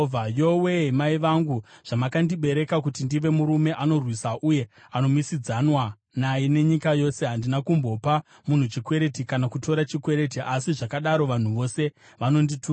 Yowe-e, mai vangu, zvamakandibereka kuti ndive murume anorwiswa uye anomisidzanwa naye nenyika yose! Handina kumbopa munhu chikwereti, kana kutora chikwereti, asi zvakadaro vanhu vose vanondituka.